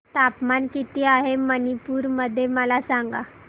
तापमान किती आहे मणिपुर मध्ये मला सांगा